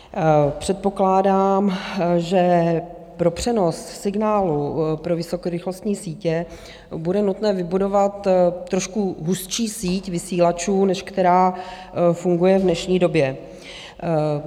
Předpokládám, že pro přenos signálu pro vysokorychlostní sítě bude nutné vybudovat trošku hustší síť vysílačů, než která funguje v dnešní době.